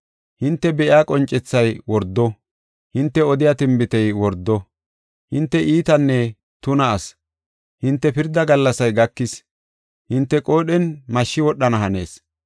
Hinte be7iya qoncethay wordo; hinte odiya tinbitey wordo. Hinte iitanne tuna asi; hinte pirda gallasay gakis hinte qoodhen mashshi wodhana hanees.